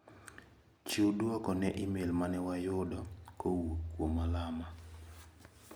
Chiw duoko ne imel mane wayudo kowuok kuom Alama.